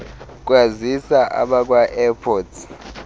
kwazisa abakwa airports